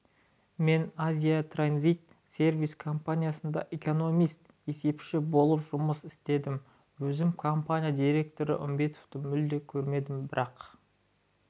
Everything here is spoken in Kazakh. мен азия транзит сервис компаниясында экономист-есепші болып жұмыс істедім өзім компания директоры үмбетовті мүлде көрмедім бірақ